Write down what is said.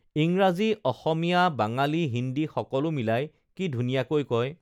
ইংৰাজী অসমীয়া বাঙালী হিন্দী সকলো মিলাই কি ধুনীয়াকৈ কয়